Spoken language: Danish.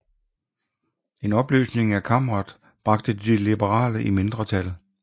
En opløsning af kammeret bragte de liberale i mindretal